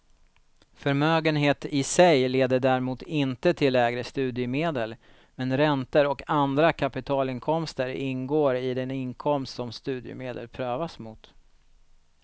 Förmögenhet i sig leder däremot inte till lägre studiemedel, men räntor och andra kapitalinkomster ingår i den inkomst som studiemedel prövas mot.